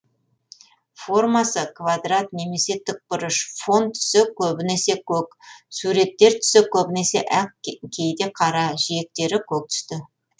формасы квадрат немесе тікбұрыш фон түсі көбінесе көк суреттер түсі көбінесе ақ кейде қара жиектері көк түсті